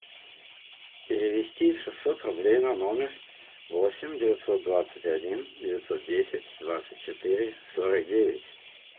перевести шестьсот рублей на номер восемь девятьсот двадцать один девятьсот десять двадцать четыре сорок девять